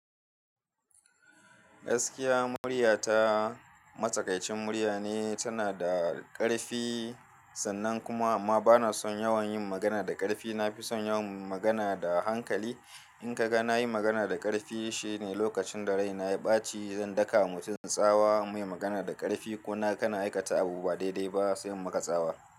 Gaskiya murya ta matsakaicin murya ne, tana da ƙarfi sannan kuma amma bana son yawan yin magana da ƙarfi. Na fi son yawan magana da hankali. In ka ga na yi magana da ƙarfi shine lokacin da rai na ya ɓaci, zan daka wa mutum tsawa in mai magana da ƙarfi ko na kana aikata abu ba daidai ba sai muka tsawa.